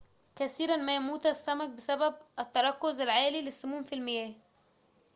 كثيراً ما يموت السمك بسبب التركز العالي للسموم في المياه